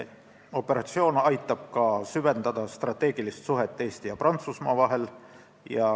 Operatsioon aitab ka süvendada strateegilist suhet Eesti ja Prantsusmaa vahel.